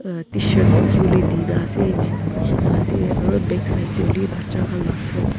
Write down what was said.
ah tshirt bukhi wole dina ase jean bukhina ase aru backside te hoilewi bacha khan la frock .